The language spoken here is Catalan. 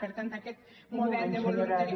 per tant aquest model de voluntariat